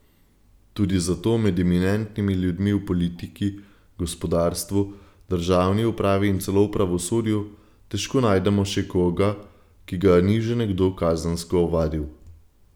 Tudi zato med eminentnimi ljudmi v politiki, gospodarstvu, državni upravi in celo v pravosodju težko najdemo še koga, ki ga ni že nekdo kazensko ovadil.